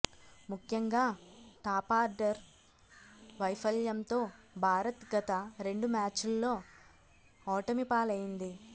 ముఖ్యంగా టాపార్డర్ వైఫల్యంతో భారత్ గత రెండు మ్యాచ్ల్లో ఓటమి పాలైంది